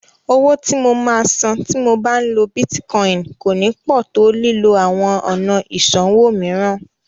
Owó tí mo máa sàn tí mo bá ń lo Bítíkọìnì kò ní pọ̀ tó lílo àwọn ọ̀nà ìsanwó mìíràn.